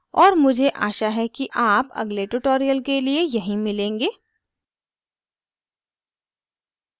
और मुझे आशा है कि आप अगले tutorial के लिए यहीं मिलेंगे